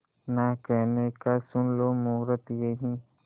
ना कहने का सुन लो मुहूर्त यही